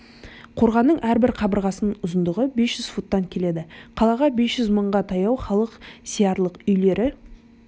қорғанның әрбір қабырғасының ұзындығы бес жүз футтан келеді қалаға бес жүз мыңға таяу халық сиярлық үйлері